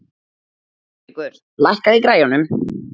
Hárekur, lækkaðu í græjunum.